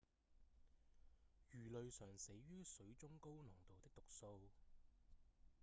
魚類常死於水中高濃度的毒素